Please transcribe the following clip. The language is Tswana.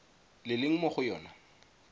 le leng mo go yona